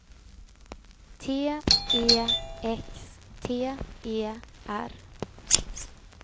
T E X T E R